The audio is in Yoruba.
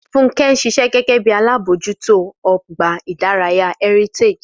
Fúnkẹ́ ń ṣiṣẹ́ gẹ́gẹ́ bí alábòójútó ọgbà ìdárayá Heritage